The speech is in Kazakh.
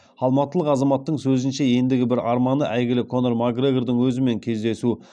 алматылық азаматтың сөзінше ендігі бір арманы әйігілі конор макгрегордың өзімен кездесу